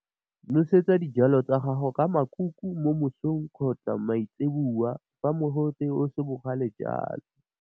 Nosetsa dijalo tsa gago ka makuku mo mosong kgotsa maitseboa fa mogote o se bogale jalo.